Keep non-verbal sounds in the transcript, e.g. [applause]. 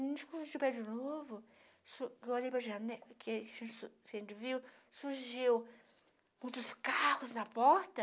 Quando surgiu o prédio novo, [unintelligible] surgiu muitos carros na porta.